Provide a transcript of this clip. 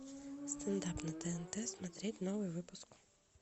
стендап на тнт смотреть новый выпуск